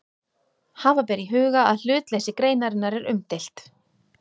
Hafa ber í huga að hlutleysi greinarinnar er umdeilt.